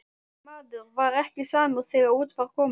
Maður var ekki samur þegar út var komið.